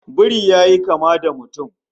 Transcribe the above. Biri yayi kama da mutum